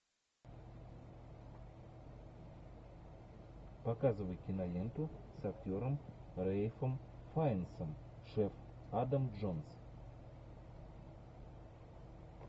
показывай киноленту с актером рэйфом файнсом шеф адам джонс